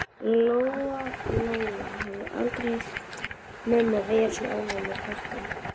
Lóa Lóa hafði aldrei heyrt mömmu vera svona ánægða með krakkana.